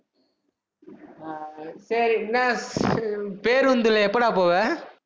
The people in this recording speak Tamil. ஆஹ் சேரி, என்ன பேருந்துல எப்படா போவ